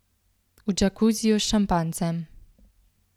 V džakuziju s šampanjcem.